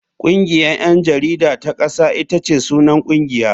Kungiyar 'yan jarida ta kasa ita ce sunan kungiya.